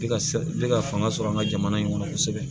Ne ka fanga sɔrɔ an ka jamana in kɔnɔ kosɛbɛ